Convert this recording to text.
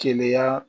Keleya